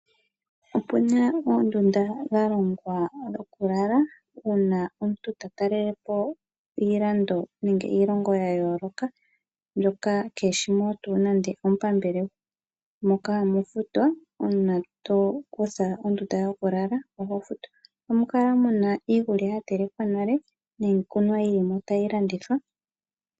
Opuna oondunda dha longwa dhokulala uuna omuntu ta talelapo iilando nenge iilongao ya yooloka moka omuntu keshimo nande omupambele . Ohamu kala muna iikulya ya telekwa nale niikunwa yilimo tayi landithwa .